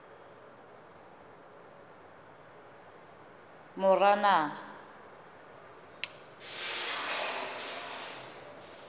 moranang